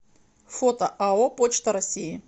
фото ао почта россии